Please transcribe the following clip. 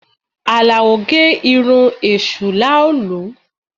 Alao gẹ irun èṣù làálu